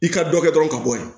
I ka dɔ kɛ dɔrɔn ka bɔ ye